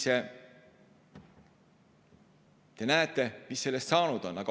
Nii et näete, mis sellest saanud on.